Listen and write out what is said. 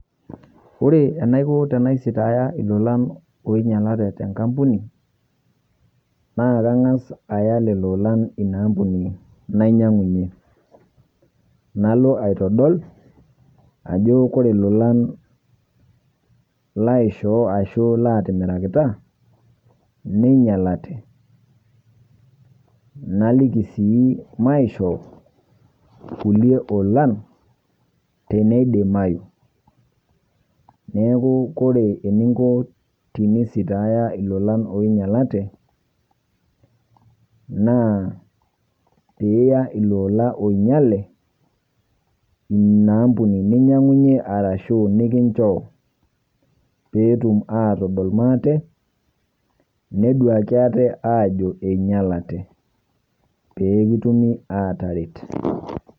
Ore enaikoo tena sitaayie iloloan oinyate te nkampuni naa kang'as ayaa lelo ilolan enia ampuni naiyang'unye, naloo aitodol ajoo kore ilolan laishoo asho laitimirakita neinyalate naliiki sii maishoo ulie ilolan tenedimayu. Neeku kore tiniinko tinisitaayie ilolan oinyalate naa pii iyaa ilolan oinyale nia ampuni niyang'unye arashu nikinchoo pee etuum atodol matee neduaki atee ajoo einyalate pee kituumi ataaret.